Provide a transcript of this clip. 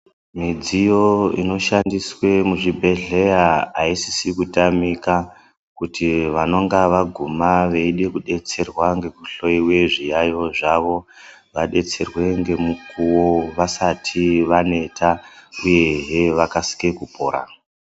Midziyo ino shandiswe mu zvi bhedhlera aisisi kutamika kuti vanonga vaguma veide ku detserwa ngeku hloyiwe zviyayo zvavo vadetserwe ngemukuwo vasati vaneta uyehe vakasike kupora.